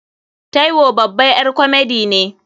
Taiwo babar ƴar komedi ne.